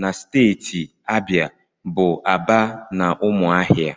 na steeti Abịa bụ Aba na Ụmụahịa